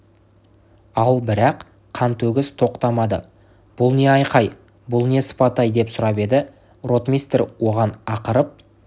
ал бірақ қантөгіс тоқтамады бұл не айқай бұл не сыпатай деп сұрап еді ротмистр оған ақырып